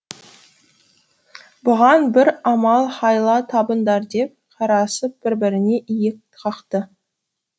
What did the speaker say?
бұған бір амал хайла табыңдар деп қарасып бір біріне иек қақты